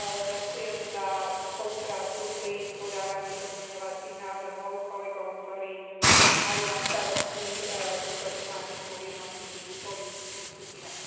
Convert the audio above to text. ďakujem za spoluprácu pri podávaní pozmeňujúcich návrhov kolegom, ktorí mali na starosti túto tematiku v jednotlivých politických skupinách.